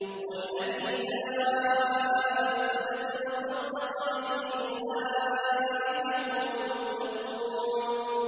وَالَّذِي جَاءَ بِالصِّدْقِ وَصَدَّقَ بِهِ ۙ أُولَٰئِكَ هُمُ الْمُتَّقُونَ